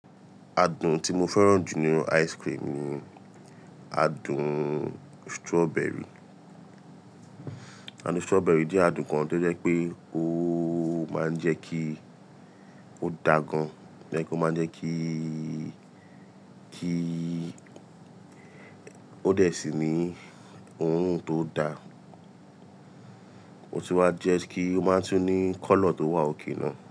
Adùn tí mo fẹ́ràn jù nínú ice cream ni adùn strawberry. Adùn strawberry jẹ́ adùn kan tó jẹ́ pé ó máa ń jẹ́ kí ó da gan, like ó máa ń jẹ́ kí, kí ó dẹ̀ sí ní orun tó da. Ó tun wáa jẹ́ kí ó máa tún ní colour tó wà òkè náà.